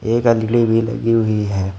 एक अगली भी लगी हुई है।